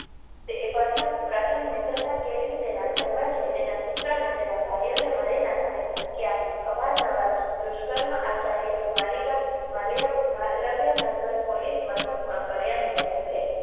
તે એ પ્રથમ પ્રથમ મિત્રતા કેળવી તેના ઘરમા જઇ તેના પુત્ર અને તેના ભાઈઓને મારી નાખવાની ધમકી આપી અવારનવાર દુષ્કર્મ આચર્યા ની માલીવા માલ્યા માલવ્યનગર પોલીસ મથકમાં ફરિયાદ નોંધાઇ છે